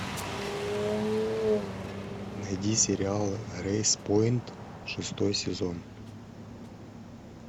найди сериал грейспойнт шестой сезон